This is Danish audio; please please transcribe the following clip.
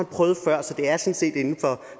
prøvet før så det er sådan set inden for